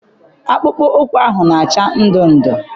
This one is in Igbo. Akpụkpọ ụkwụ ahụ na-acha ndụndụ.